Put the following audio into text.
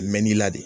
Mɛ n'i la de